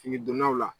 Fini donnaw la